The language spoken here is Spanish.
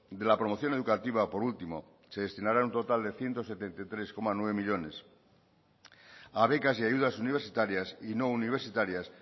de la promoción educativa por último se destinarán un total de ciento setenta y tres coma nueve millónes a becas y ayudas universitarias y no universitarias